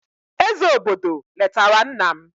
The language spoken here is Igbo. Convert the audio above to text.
eze obodo letara nna m.